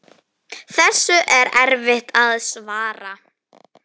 Þessu er erfitt að svara.